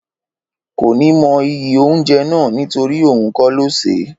Kò ní mọ iyì oúnjẹ náà nítorí òhun kó lo ṣe